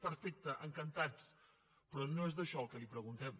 perfecte encantats però no és això el que li preguntem